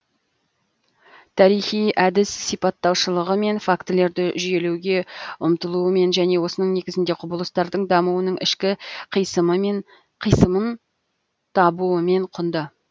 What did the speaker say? тарихи әдіс сипаттаушылығымен фактілерді жүйелеуге ұмтылуымен және осының негізінде құбылыстардың дамуының ішкі қисынын табуымен құнды